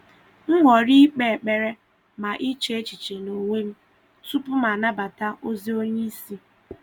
M họrọ̀ ị̀kpe ekpere na iche echiche n’onwe m tupu m anabata ozi onye isi.